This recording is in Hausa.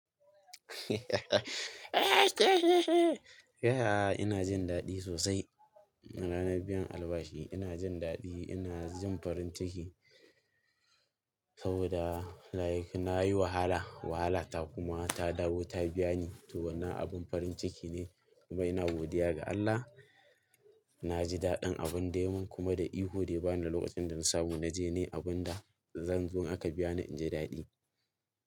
Yaya ina jin daɗi sosai. Ranar biyan albashi ina jin daɗi, ina jin farin ciki saboda like nayi wahala, wahala ta kuma ta dawo ta biya ni. To wannan abin farin ciki ne kuma ina godiya ga Allah. Na ji daɗin abin dai mun kuma da ihu dai ba da lokacin da na samu na je ne abin da zan zo aka biya ni inji daɗi.